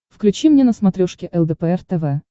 включи мне на смотрешке лдпр тв